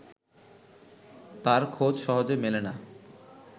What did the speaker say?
তার খোঁজ সহজে মেলে না